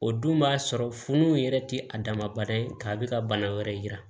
O dun b'a sɔrɔ funu yɛrɛ tɛ a damadɔ ye k'a bɛ ka bana wɛrɛ yira